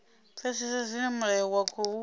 pfesesa zwine mulayo wa khou